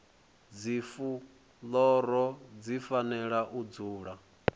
dzifuloro dzi fanela u dzula